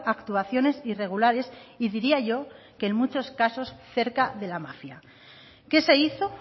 actuaciones irregulares y diría yo que en muchos casos cerca de la mafia qué se hizo